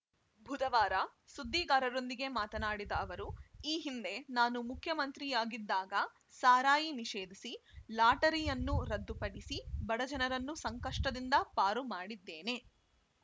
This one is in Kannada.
ಬುಧವಾರ ಸುದ್ದಿಗಾರರೊಂದಿಗೆ ಮಾತನಾಡಿದ ಅವರು ಈ ಹಿಂದೆ ನಾನು ಮುಖ್ಯಮಂತ್ರಿಯಾಗಿದ್ದಾಗ ಸಾರಾಯಿ ನಿಷೇಧಿಸಿ ಲಾಟರಿಯನ್ನು ರದ್ದುಪಡಿಸಿ ಬಡಜನರನ್ನು ಸಂಕಷ್ಟದಿಂದ ಪಾರು ಮಾಡಿದ್ದೇನೆ